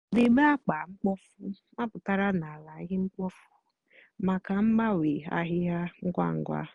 débé ákpa mkpofu mápụtárá nà álá íhè mkpofu mákà mgbanwe áhịhịa ngwa ngwa.